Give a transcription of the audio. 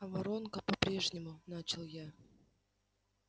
а воронка по-прежнему начал я